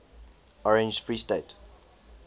orange free state